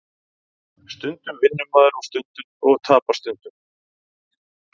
Stundum vinnur maður og tapar stundum